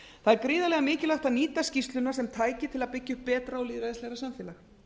það er gríðarlega mikilvægt að nýta skýrsluna sem tæki til að byggja upp betra og lýðræðislegra samfélag